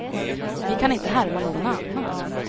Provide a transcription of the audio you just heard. Vi kan inte härma någon annan.